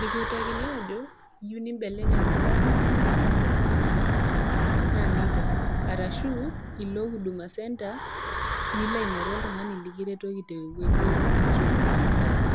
nikiutakini ajo, iyou niimbelekeny enkarna anaa kainyoo iyou ninko, naa neija. Arashu ilo huduma center nilo aingoru oltung'ani lekiutaki te wueji e registration of birth.